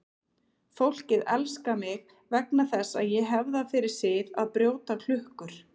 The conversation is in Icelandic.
Fólkið elskar mig vegna þess að ég hef það fyrir sið að brjóta klukkur.